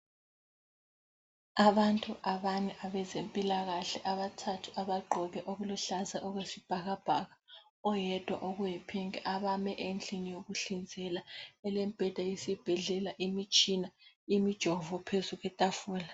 Abantu abane abezempilakahle abathathu abagqoke okuluhlaza okwesibhakabhaka oyedwa okuyipinki abame endlini yokuhlinzela elemibheda yesibhedlela imitshina imijovo phezulu kwetafula.